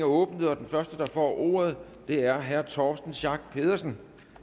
åbnet den første der får ordet er herre torsten schack pedersen